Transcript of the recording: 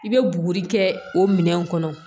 I bɛ buguri kɛ o minɛn kɔnɔ